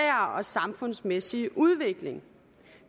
og samfundsmæssige udvikling